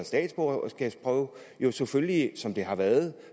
statsborgerskabsprøve jo selvfølgelig er som det har været